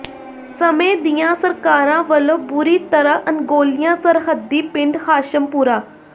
ਸਮੇਂ ਦੀਆਂ ਸਰਕਾਰਾਂ ਵਲੋਂ ਬੁਰੀ ਤਰ੍ਹਾਂ ਅਣਗੌਲਿਆ ਸਰਹੱਦੀ ਪਿੰਡ ਹਾਸ਼ਮਪੁਰਾ